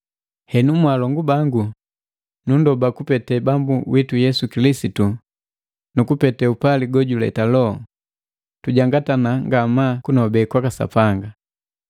Henu mwaalongu bangu, nundoba kupete Bambu witu Yesu Kilisitu na kupete upali gojuleta Loho, tujangatana ngamaa kunobe kwaka Sapanga.